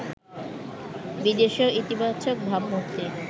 বিদেশেও ইতিবাচক ভাবমূর্তি